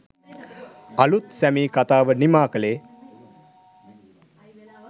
අලුත් 'සැමී' කතාව නිමා කළේ